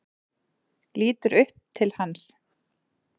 Lítur upp til hans.